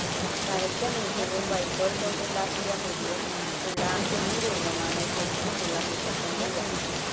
നരച്ച മീശയും വൈക്കോൽ കൊണ്ടുണ്ടാക്കിയ മുടിയും ഉള്ള ഈ രൂപമാണ് ശരിക്കുമുള്ള മുത്തപ്പൻ തെയ്യം..